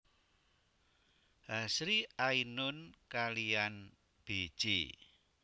Hasri Ainun kalihan Bj